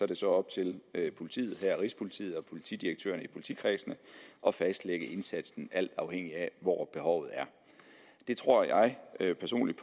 det så op til politiet her rigspolitiet og politidirektørerne i politikredsene at fastlægge indsatsen alt afhængigt af hvor behovet er det tror jeg jeg personligt